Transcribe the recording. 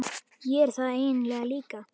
Ég er það eiginlega líka.